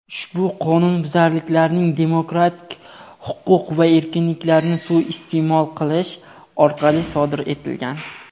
ushbu qonunbuzarliklarning demokratik huquq va erkinliklarni suiiste’mol qilish orqali sodir etilgan.